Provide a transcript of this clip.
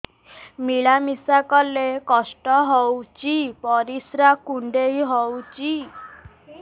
ମିଳା ମିଶା କଲେ କଷ୍ଟ ହେଉଚି ପରିସ୍ରା କୁଣ୍ଡେଇ ହଉଚି